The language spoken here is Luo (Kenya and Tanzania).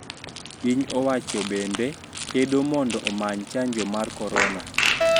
Piny owacho bende kedo mondo omany chanjo mar Korona